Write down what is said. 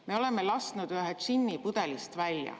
Me oleme lasknud ühe džinni pudelist välja.